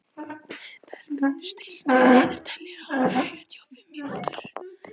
Heiðberg, stilltu niðurteljara á sjötíu og fimm mínútur.